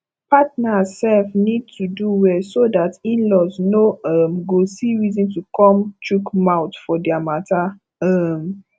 partners sef need to do well so dat inlaws no um go see reason to come chook mouth for their matter um